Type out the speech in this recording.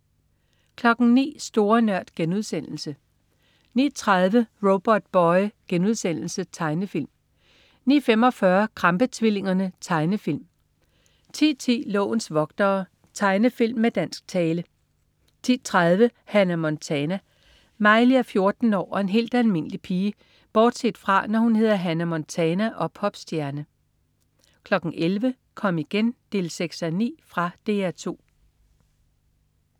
09.00 Store Nørd* 09.30 Robotboy.* Tegnefilm 09.45 Krampe-tvillingerne. Tegnefilm 10.10 Lovens vogtere. Tegnefilm med dansk tale 10.30 Hannah Montana. Miley er 14 år og en helt almindelig pige bortset fra, når hun hedder Hannah Montana og er popstjerne 11.00 Kom igen 6:9. Fra DR 2